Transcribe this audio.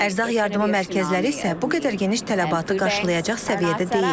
Ərzaq yardımı mərkəzləri isə bu qədər geniş tələbatı qarşılayacaq səviyyədə deyil.